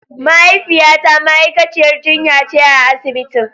Mahaifiyata ma'aikaciyar jinya ce a asibitin.